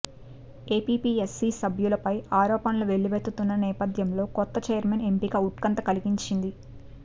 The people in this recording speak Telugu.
ఏపీపీఎస్సీ సభ్యులపై ఆరోపణలు వెల్లువెత్తుతున్న నేపథ్యంలో కొత్త ఛైర్మెన్ ఎంపిక ఉత్కంఠ కలిగించింది